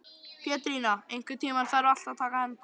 Pétrína, einhvern tímann þarf allt að taka enda.